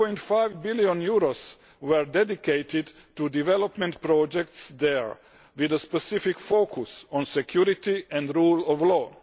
1.5 billion were dedicated to development projects there, with a specific focus on security and the rule of law.